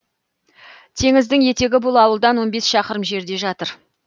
теңіздің етегі бұл ауылдан он бес шақырым жерде жатыр